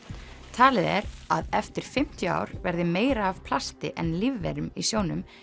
talið er að eftir fimmtíu ár verði meira af plasti en lífverum í sjónum